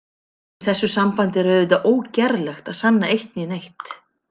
Í þessu sambandi er auðvitað ógerlegt að sanna eitt né neitt.